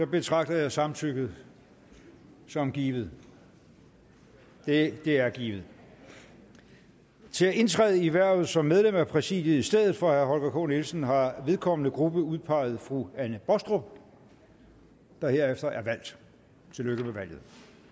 betragter jeg samtykket som givet det er givet til at indtræde i hvervet som medlem af præsidiet i stedet for herre holger k nielsen har vedkommende gruppe udpeget fru anne baastrup der herefter er valgt tillykke med valget